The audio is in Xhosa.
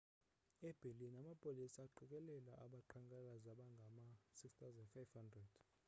e-berlin amapolisa aqikelela abaqhankqalazi abangama-6 500